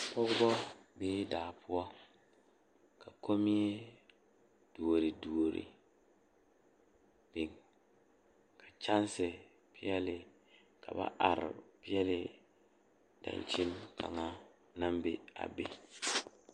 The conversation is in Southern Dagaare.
Pɔgeba are ka bamine zeŋ ka gangaare biŋ kaŋa zaa toɔ puli kyɛ ka ba zage ba nuure kaa do saa kyɛ ka ba gbɛɛ meŋ gaa.